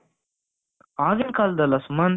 ಆಗಿನ ಕಾಲದಲ್ಲ ಸುಮಂತ್,